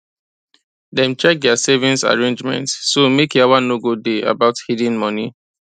dem check their savings arrangements so make yawa no go day about hidden money